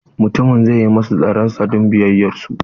Mutumin zai yi masu tsaron sa kyauta don biyayyar su.